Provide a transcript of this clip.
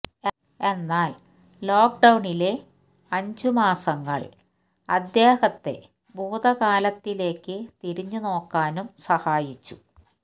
എന്നാല് ലോക്ക്ഡൌണിലെ അഞ്ച് മാസങ്ങള് അദ്ദേഹത്തെ ഭൂതകാലത്തിലേക്ക് തിരിഞ്ഞു നോക്കാനും സഹായിച്ചു